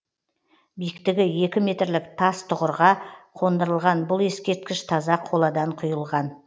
биіктігі екі метрлік тас тұғырға қондырылған бұл ескерткіш таза қоладан құйылған